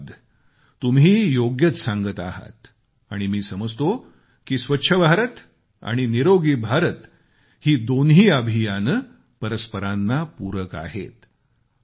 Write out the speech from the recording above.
धन्यवाद तुम्ही योग्यच सांगत आहात आणि मी समजतो की स्वच्छ भारत आणि निरोगी भारत ही दोन्ही अभियान परस्परांना पूरक आहेत